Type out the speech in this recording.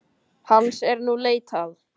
Hans er nú leitað